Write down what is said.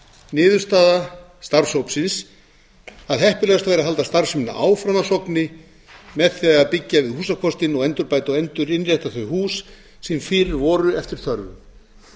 niðurstaða starfshópsins að heppilegast væri að halda starfseminni áfram að sogni með því að byggja við húsakostinn og endurbæta og endurinnrétta þau hús sem fyrir voru eftir þörfum